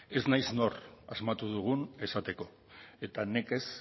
ez naiz nor asmatu dugun esateko eta nekez